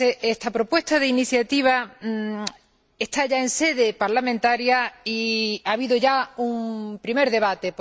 Esta propuesta de iniciativa está ya en sede parlamentaria y ha habido ya un primer debate.